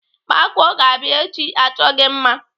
Makụọ ga-abịa echi achọ gị mma.